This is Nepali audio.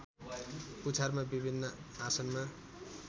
पुछारमा विभिन्न आसनमा